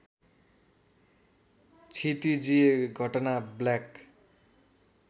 क्षितिजीय घटना ब्ल्याक